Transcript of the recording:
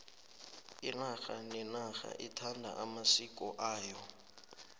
inarha nenarha ithanda amasiko ayo